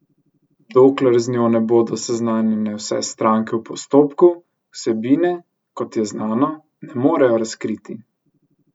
Dokler z njo ne bodo seznanjene vse stranke v postopku, vsebine, kot je znano, ne morejo razkriti.